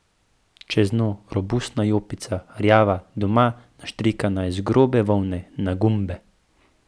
Čeznjo robustna jopica, rjava, doma naštrikana iz grobe volne, na gumbe.